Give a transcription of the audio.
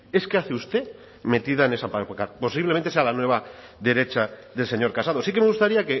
es qué hace usted metida en esa pancarta posiblemente sea la nueva derecha del señor casado sí que me gustaría